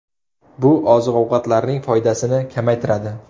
Bu oziq-ovqatlarning foydasini kamaytiradi.